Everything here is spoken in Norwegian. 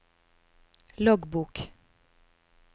loggbok